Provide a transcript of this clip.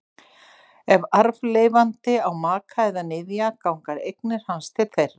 Ef arfleifandi á maka eða niðja ganga eignir hans til þeirra.